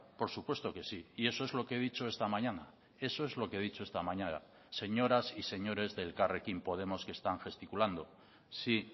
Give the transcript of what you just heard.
por supuesto que sí y eso es lo que he dicho esta mañana eso es lo que he dicho esta mañana señoras y señores de elkarrekin podemos que están gesticulando sí